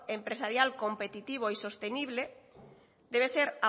empresarial competitivo y sostenible debe ser